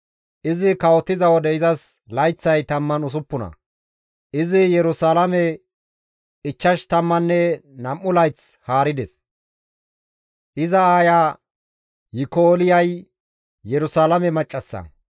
Izi kawotiza wode izas layththay 16; izi Yerusalaame ichchash tammanne nam7u layth haarides; iza aaya Yikolyay Yerusalaame maccassa.